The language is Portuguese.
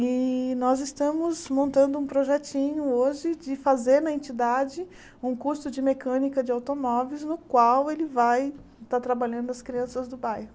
E nós estamos montando um projetinho hoje de fazer na entidade um curso de mecânica de automóveis no qual ele vai estar trabalhando as crianças do bairro.